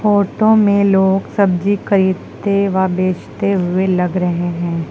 Photo में लोग सब्जी खरीदते व बेचते हुए लग रहे हैं।